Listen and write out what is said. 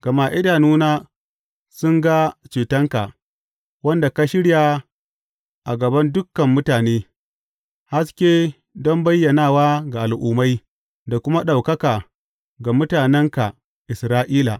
Gama idanuna sun ga cetonka, wanda ka shirya a gaban dukan mutane, haske don bayyanawa ga Al’ummai da kuma ɗaukaka ga mutanenka Isra’ila.